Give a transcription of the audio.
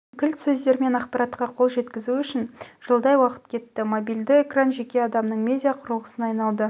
кілт сөздермен ақпаратқа қол жеткізу үшін жылдай уақыт кетті мобильді экран жеке адамның медиа құрылғысына айналды